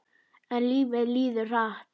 En lífið líður hratt.